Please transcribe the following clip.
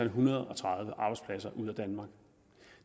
hundrede og tredive arbejdspladser ud af danmark